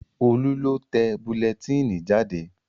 Ọlá lọ tẹ bulẹtínì jáde